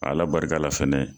Ala barika la fɛnɛ